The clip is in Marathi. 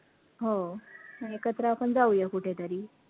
हो एकत्र आपण जाऊया कुठेतरी